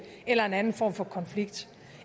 eller en anden form for konflikt